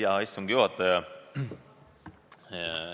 Hea istungi juhataja!